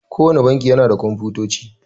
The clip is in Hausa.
Kowanne banki yana da Komfutoci.